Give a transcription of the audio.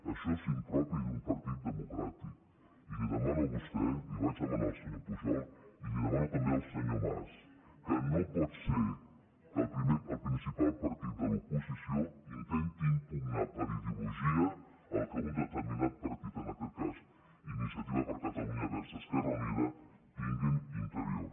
això és impropi d’un partit democràtic i li ho demano a vostè li ho vaig demanar al senyor pujol i li ho demano també al senyor mas que no pot ser que el principal partit de l’oposició intenti impugnar per ideologia el que un determinat partit en aquest cas iniciativa per catalunya verds esquerra unida tingui interior